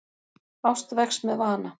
Ást vex með vana.